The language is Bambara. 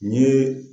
N ye